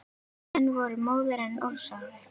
Menn voru móðir en ósárir.